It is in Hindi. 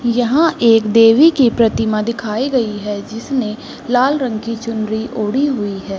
यहां एक देवी की प्रतिमा दिखाई गई है जिसनें लाल रंग की चुनरी ओढ़ी हुई है।